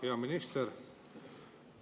Hea minister!